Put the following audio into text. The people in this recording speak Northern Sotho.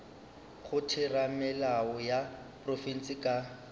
go theramelao ya profense ka